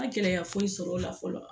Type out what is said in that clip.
N ma gɛlɛya foyi sɔrɔ o la fɔlɔ